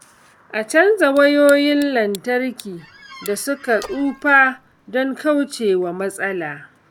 A riƙa canza wayoyin lantarki da suka tsufa don kauce wa matsala.